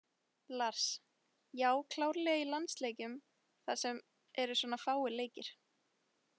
Lars: Já, klárlega í landsleikjum þar sem eru svona fáir leikir.